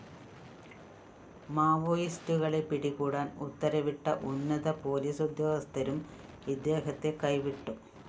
മാവോയിസ്റ്റുകളെ പിടികൂടാന്‍ ഉത്തരവിട്ട ഉന്നത പോലീസുദ്യോഗസ്ഥരും ഇദ്ദേഹത്തെ കൈവിട്ടു